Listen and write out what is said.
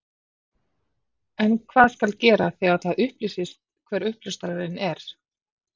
En hvað skal gera þegar það upplýsist hver uppljóstrarinn er?